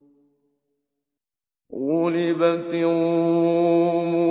غُلِبَتِ الرُّومُ